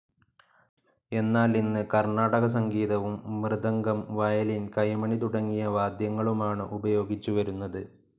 എന്നാൽ ഇന്ന് കർണാടക സംഗീതവും, മൃദഗം, വയലിൻ, കൈമണി തുടങ്ങിയ വാദ്യങ്ങളുമാണ് ഉപയോഗിച്ചുവരുന്നത്.